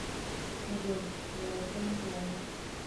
джой я этого не делала